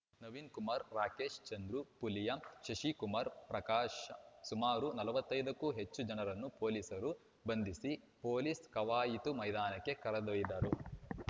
ನವೀನ್ ಕುಮಾರ ರಾಕೇಶ ಚಂದ್ರು ಪುಲಿಯಾ ಶಶಿಕುಮಾರ ಪ್ರಕಾಶ ಸುಮಾರು ನಲವತ್ತೈದುಕ್ಕೂ ಹೆಚ್ಚು ಜನರನ್ನು ಪೊಲೀಸರು ಬಂಧಿಸಿ ಪೊಲೀಸ್‌ ಕವಾಯಿತು ಮೈದಾನಕ್ಕೆ ಕರೆದೊಯ್ದರು